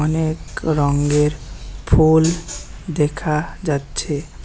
অনেক রঙ্গের ফুল দেখা যাচ্ছে।